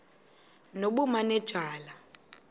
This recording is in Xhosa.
nobumanejala